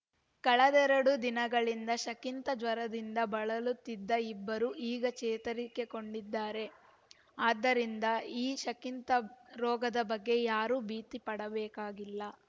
ಕಳೆದೆರಡು ದಿನಗಳಿಂದ ಸಕಿಂತ ಜ್ವರದಿಂದ ಬಳಲುತ್ತಿದ್ದ ಇಬ್ಬರು ಈಗ ಚೇತರಿಕೆ ಕಂಡಿದ್ದಾರೆ ಆದ್ದರಿಂದ ಈ ಸಕಿಂತ ರೋಗದ ಬಗ್ಗೆ ಯಾರೂ ಭೀತಿಪಡಬೇಕಾಗಿಲ್ಲ